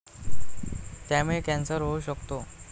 त्यामुळे कॅन्सर होऊ शकतो.